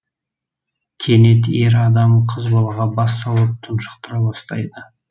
кенет ер адам қыз балаға бас салып тұншықтыра бастайды